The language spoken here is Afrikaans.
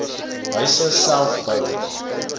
huise self bou